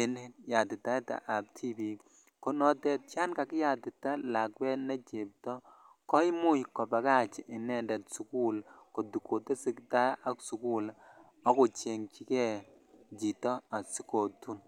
en yatitaetab tibik ko notet yan kakiyatita lakwet ne chebto koimuch kobakach inendet sugul kotesetaa ak sugul ako chengyikee chito asikotun